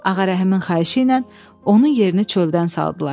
Ağarəhimin xahişi ilə onun yerini çöldən saldılar.